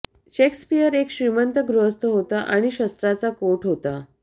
Shakespeare एक श्रीमंत गृहस्थ होता आणि शस्त्रांचा कोट होता